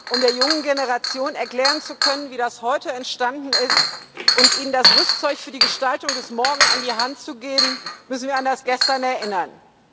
Um der jungen Generation erklären zu können, wie das Heute entstanden ist, und ihnen das Rüstzeug für die Gestaltung des Morgen an die Hand zu geben, müssen wir an das Gestern erinnern.